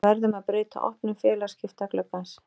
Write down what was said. Við verðum að breyta opnun félagsskiptagluggans.